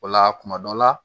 O la kuma dɔ la